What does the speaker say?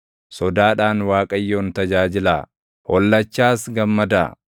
Sodaadhaan Waaqayyoon tajaajilaa; hollachaas gammadaa.